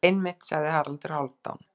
Einmitt, sagði Haraldur Hálfdán.